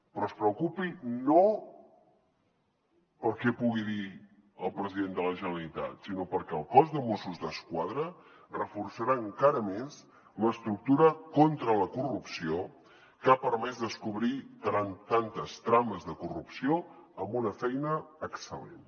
però es preocupi no pel que pugui dir el president de la generalitat sinó perquè el cos de mossos d’esquadra reforçarà encara més l’estructura contra la corrupció que ha permès descobrir tantes trames de corrupció amb una feina excel·lent